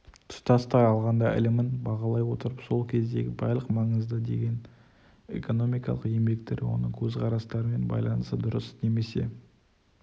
тұтастай алғанда ілімін бағалай отырып сол кездегі барлық маңызды деген экономикалық еңбектер оның көзқарастарымен байланысты дұрыс немесе